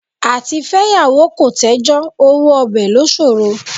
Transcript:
Àtifẹ́yàwó kò tẹ́jọ́ owó ọbẹ̀ ló ṣòro.